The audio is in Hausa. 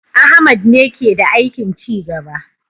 Ahmad ne ke da aikin ci gaba